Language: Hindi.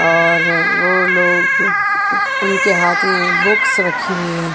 और वो लोग उनके हाथ में बुक्स रखी हुई है।